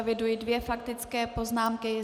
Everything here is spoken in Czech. Eviduji dvě faktické poznámky.